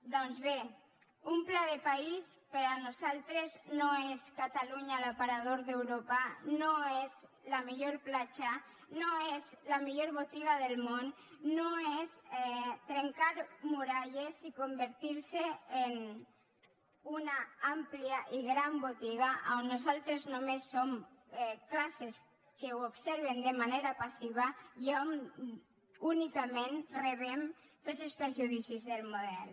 doncs bé un pla de país per a nosaltres no és catalunya l’aparador d’europa no és la millor platja no és la millor botiga del món no és trencar muralles i convertir se en una àmplia i gran botiga on nosaltres només som classes que ho observen de manera passiva i on únicament rebem tots els perjudicis del model